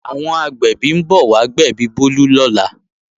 Àwọn agbẹ̀bí ń bọ̀ wá gbẹ̀bí Bólú lọ́la